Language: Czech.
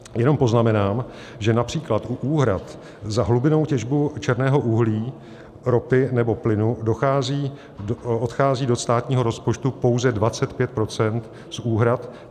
Jenom poznamenám, že například u úhrad za hlubinnou těžbu černého uhlí, ropy nebo plynu odchází do státního rozpočtu pouze 25 % z úhrad.